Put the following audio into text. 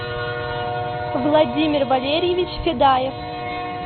владимир валерьевич федаев